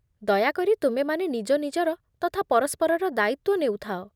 ଦୟାକରି ତୁମେମାନେ ନିଜନିଜର ତଥା ପରସ୍ପରର ଦାୟିତ୍ୱ ନେଉଥାଅ